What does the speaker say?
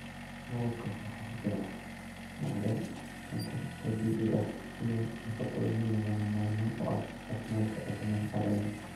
Malabka waxaa ku jira macdan, sonkor dabiici ah iyo nafaqooyin lagama maarmaan u ah caafimaadka aadanaha.